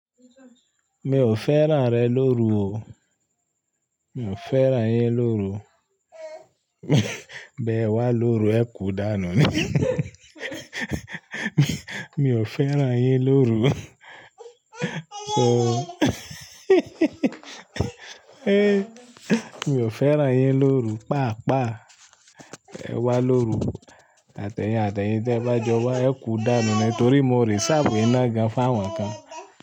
Mi ò fẹ́ràn rẹ lóru o. Mi ò fẹ́ràn yẹn lóru. Bẹ́ẹ̀ wá lóru, ẹ kú dànù ni. Mi ò fẹ́ràn yin lóru. So Mi ò fẹ́ràn yin lóru, pàápàá ẹ wá lóru. Àtẹ̀yìn àtẹ̀yìn tí ẹ̀ bá jọ wá, ẹ kú dànù ni torí mo reserve iná gan fáwọ̀n kan.